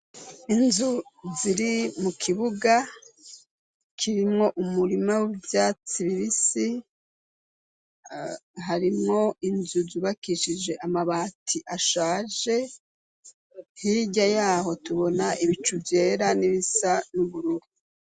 Inzu ziri mu kibuga kirimwo umurima w'ivyatsi bibisi harimwo inzu zubakishije amabati ashaje hirya yaho tubona ibicu vyera n'ibisa n'ubururu.